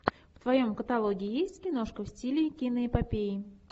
в твоем каталоге есть киношка в стиле киноэпопеи